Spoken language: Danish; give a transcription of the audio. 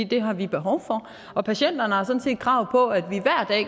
det har vi behov for patienterne har sådan set krav på at